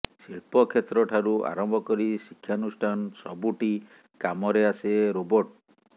ଶିଳ୍ପକ୍ଷେତ୍ର ଠାରୁ ଆରମ୍ଭ କରି ଶିକ୍ଷାନୁଷ୍ଠାନ ସବୁଠି କାମରେ ଆସେ ରୋବୋଟ